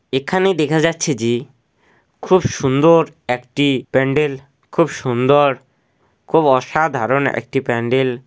এখানে দেখা যাচ্ছে যে খুব সুন্দর একটি প্যান্ডেল খুব সুন্দর খুব অসাধারণ একটি প্যান্ডেল।